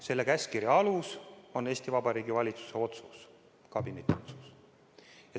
Selle käskkirja alus on Eesti Vabariigi valitsuse otsus, kabineti otsus.